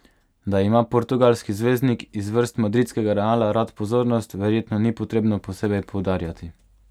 Da ima portugalski zvezdnik iz vrst madridskega Reala rad pozornost, verjetno ni potrebno posebej poudarjati.